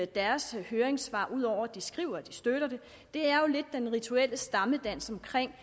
deres høringssvar ud over at de skriver at de støtter det er jo lidt den rituelle stammedans omkring